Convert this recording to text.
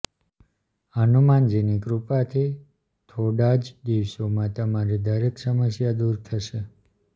હનુમાનજીની કૃપાથી થોડા જ દિવસોમાં તમારી દરેક સમસ્યા દૂર થશે